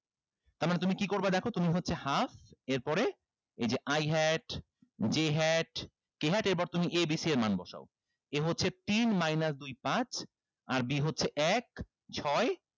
তার মানে তুমি কি করবা দেখো তুমি হচ্ছে half এর পরে এই যে i hat j hat k hat এরপর তুমি a b c এর মান বসাও a হচ্ছে তিন minus দুই পাঁচ আর b হচ্ছে এক ছয়